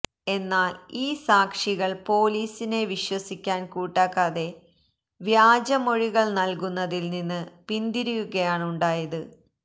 എന്നാല് ഈ സാക്ഷികള് പോലീസിനെ വിശ്വസിക്കാന് കൂട്ടാക്കാതെ വ്യാജ മൊഴികള് നല്കുന്നതില്നിന്ന് പിന്തിരിയുകയാണുായത്